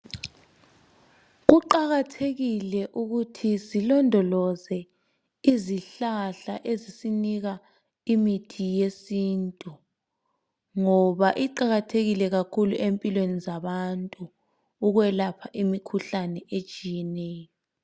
Kuqakathekile ukuthi silondoloze izihlahla ezisinika imithi yesintu ngoba iqakathekile kakhulu empilweni zabantu ukwelapha imikhuhlane etshiyeneyo.